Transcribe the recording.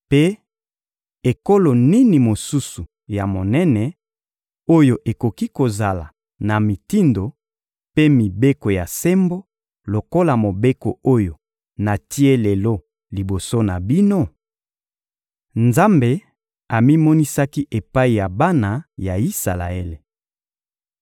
Mpe ekolo nini mosusu ya monene, oyo ekoki kozala na mitindo mpe mibeko ya sembo lokola Mobeko oyo natie lelo liboso na bino? Nzambe amimonisaki epai ya bana ya Isalaele